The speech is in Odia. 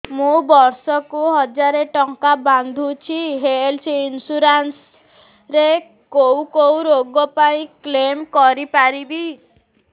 ମୁଁ ବର୍ଷ କୁ ହଜାର ଟଙ୍କା ବାନ୍ଧୁଛି ହେଲ୍ଥ ଇନ୍ସୁରାନ୍ସ ରେ କୋଉ କୋଉ ରୋଗ ପାଇଁ କ୍ଳେମ କରିପାରିବି